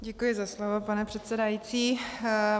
Děkuji za slovo, pane předsedající.